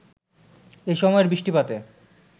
এসময়ের বৃষ্টিপাতে